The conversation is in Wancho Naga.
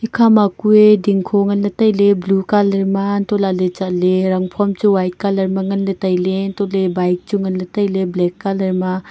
ikhama kue dingkho nganley tai ley blue colour ma antolaley chatley rangphom chu white colour ma nganle tailey antole bike chu nganley tailey black colour ma.